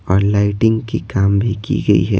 और लाइटिंग की काम भी की गई है।